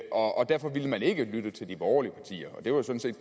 og derfor ville den ikke lytte til de borgerlige partier det var sådan set